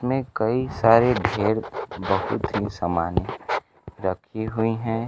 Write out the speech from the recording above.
इसमें कई सारे ढेर बहुत ही सामाने रखी हुई हैं।